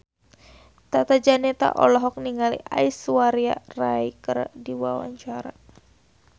Tata Janeta olohok ningali Aishwarya Rai keur diwawancara